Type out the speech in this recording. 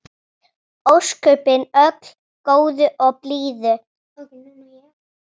Ósköpin öll góður og blíður.